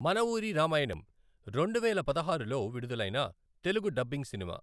మన ఊరి రామాయణం రెండువేల పదహారులో విడుదలైన తెలుగు డబ్బింగ్ సినిమా.